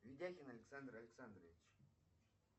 видяхин александр александрович